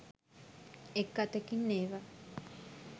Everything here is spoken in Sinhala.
එක් අතකින් ඒවා